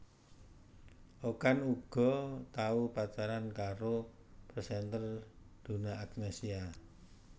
Okan uga tau pacaran karo presenter Donna Agnesia